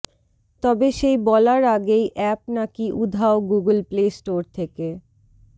তবে সেই বলার আগেই অ্যাপ নাকি উধাও গুগল প্লে স্টোর থেকে